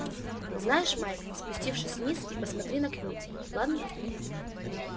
знаешь майк спустившись вниз и присмотри на кьюти ладно